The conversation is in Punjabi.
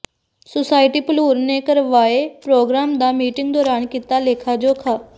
ਸੁਸਾਇਟੀ ਭਲੂਰ ਨੇ ਕਰਵਾਏ ਪ੍ਰੋਗਰਾਮ ਦਾ ਮੀਟਿੰਗ ਦੌਰਾਨ ਕੀਤਾ ਲੇਖਾ ਜੋਖਾ